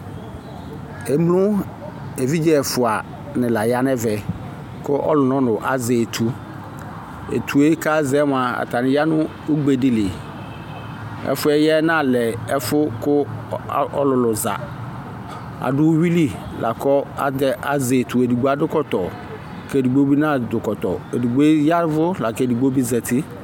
Emlo evidze ɛfuadini la yɛ yanavɛ ku ɔlɔ nɔlu azɛ etu etue kazɛɛ mua atani du ugbedili ɛfuɛ ya yɛ nalɛ ɛfu ku ɔlulu zã adu uyuli lakazɛ etu kɛdiadu ɛkɔtɔ kuedigbo bi nadu kɔtɔ kedigbo bi yavu kedigbo zati